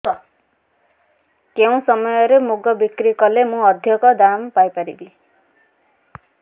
କେଉଁ ସମୟରେ ମୁଗ ବିକ୍ରି କଲେ ମୁଁ ଅଧିକ ଦାମ୍ ପାଇ ପାରିବି